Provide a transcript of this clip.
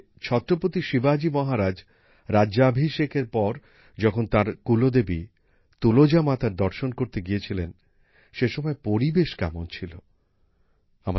ছত্রপতি শিবাজি মহারাজ রাজ্যাভিষেকের পর যখন তাঁর কুলদেবী তুলজা মাতার দর্শন করতে গিয়েছিলেন সে সময় পরিবেশ কেমন ছিল তা শিল্পী প্রভাত ভাই এঁকেছিলেন